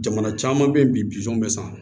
Jamana caman bɛ yen bisɔn bɛ san